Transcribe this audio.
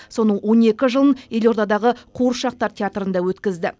соның он екі жылын елордадағы қуыршақтар театрында өткізді